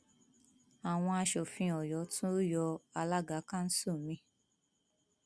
àwọn aṣòfin ọyọ tún yọ alága kanṣu mi